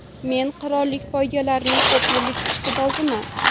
Men qirollik poygalarining ko‘p yillik ishqiboziman.